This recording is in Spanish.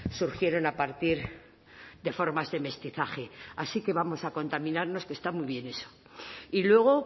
surgieron a partir de formas de mestizaje así que vamos a contaminarnos que está muy bien eso y luego